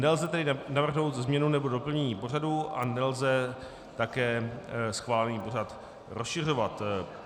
Nelze tedy navrhnout změnu nebo doplnění pořadu a nelze také schválený pořad rozšiřovat.